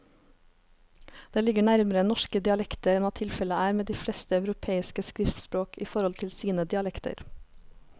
Det ligger nærmere norske dialekter enn hva tilfellet er med de fleste europeiske skriftspråk i forhold til sine dialekter.